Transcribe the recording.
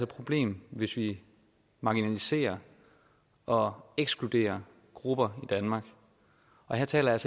problem hvis vi marginaliserer og ekskluderer grupper i danmark og her taler jeg